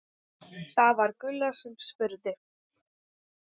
Það var Gulla sem spurði.